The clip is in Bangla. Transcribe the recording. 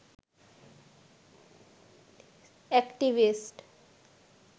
এক্টিভিস্ট